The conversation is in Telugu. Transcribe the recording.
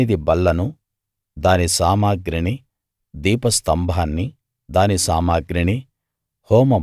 సన్నిధి బల్లను దాని సామగ్రిని దీపస్తంభాన్ని దాని సామగ్రిని